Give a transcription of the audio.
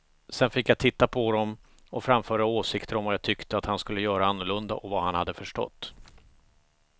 Sedan fick jag titta på dem och framföra åsikter om vad jag tyckte att han skulle göra annorlunda och vad han hade förstått.